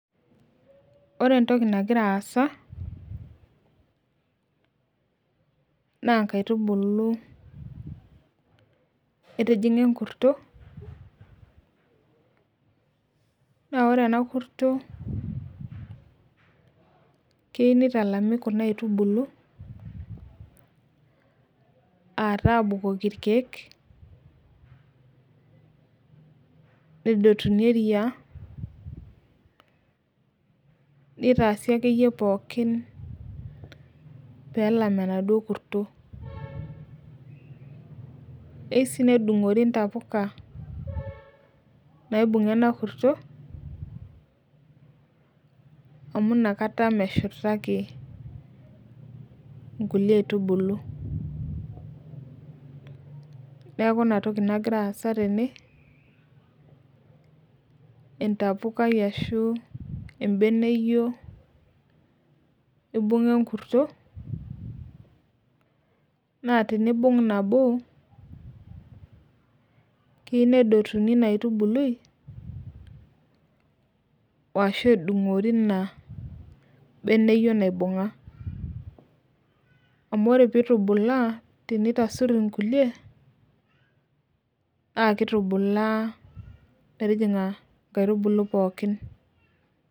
ore entoki nagira aasa naa inkaitubulu etijing'a enkurto naa keyieu nitalami kuna aitubulu, aa taa abukoki ikeek nedotuni eriaa nitasi akeyie pooki pee elam enaduo kurto, eyieu sii nedung'ori intapuka nabung'a enakurto amu inakata meshurtaki inkulie aitubulu, neeku inatoki nagira aasa tene, ebeneyio ibung'a enkurto naa tinibung' nabo naa keyieu nedotini inabeneyioi naibung'a naa kitubulaa metijing'a inkaitubulu pooki.